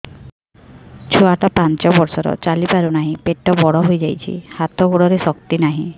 ଛୁଆଟା ପାଞ୍ଚ ବର୍ଷର ଚାଲି ପାରୁ ନାହି ପେଟ ବଡ଼ ହୋଇ ଯାଇଛି ହାତ ଗୋଡ଼ରେ ଶକ୍ତି ନାହିଁ